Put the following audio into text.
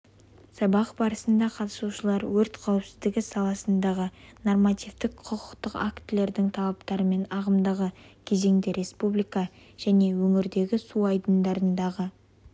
сабақ барысында қатысушылар өрт қауіпсіздігі саласындағы нормативтік-құқықтық актілердің талаптарымен ағымдағы кезеңде республика және өңірдегі су айдындарындағы